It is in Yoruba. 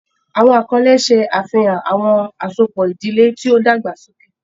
Awọn akọle ṣe afihan awọn asopọ idile ti o dagbasoke.